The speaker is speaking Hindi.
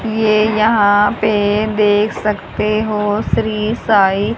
ये यहां पे देख सकते हो श्री साईं--